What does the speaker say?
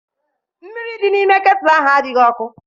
Mmiri dị n'ime ketulu ahụ adịghị ọkụ.